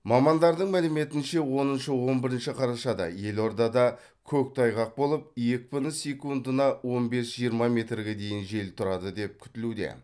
мамандардың мәліметінше оныншы он бірінші қарашада елордада көктайғақ болып екпіні секундына он бес жиырма метрге дейін жел тұрады деп күтілуде